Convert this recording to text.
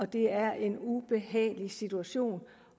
det er en ubehagelig situation